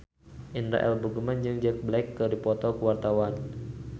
Indra L. Bruggman jeung Jack Black keur dipoto ku wartawan